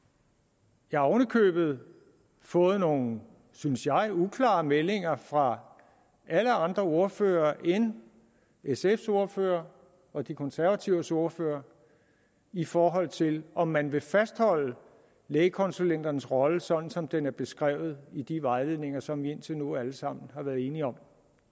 jeg har oven i købet fået nogle synes jeg uklare meldinger fra alle andre ordførere end sfs ordfører og de konservatives ordfører i forhold til om man vil fastholde lægekonsulenternes rolle sådan som den er beskrevet i de vejledninger som vi indtil nu alle sammen har været enige om